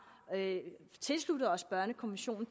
tilsluttet os børnekonventionen